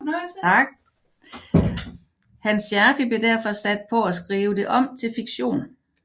Hans Scherfig blev derfor sat på at skrive det om til fiktion